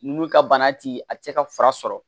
N'u ka bana ti a ti se ka fura sɔrɔ